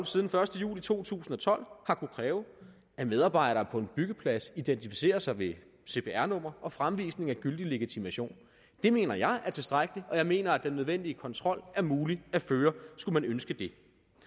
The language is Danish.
siden første juli to tusind og tolv har kunnet kræve at medarbejdere på en byggeplads identificerer sig med cpr nummer og fremvisning af gyldig legitimation det mener jeg er tilstrækkeligt og jeg mener at den nødvendige kontrol er mulig at føre skulle man ønske det